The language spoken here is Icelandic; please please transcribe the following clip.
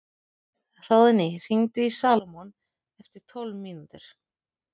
Hróðný, hringdu í Salómon eftir tólf mínútur.